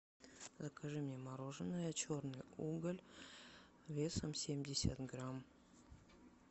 закажи мне мороженое черный уголь весом семьдесят грамм